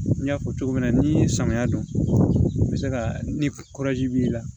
N y'a fɔ cogo min na n'i ye samiya don bɛ se ka ni b'i la